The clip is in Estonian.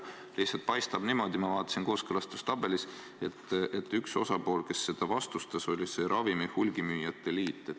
Praegu paistab niimoodi – ma vaatasin kooskõlastustabelist –, et üks osapool, kes seda vastustas, oli ravimihulgimüüjate liit.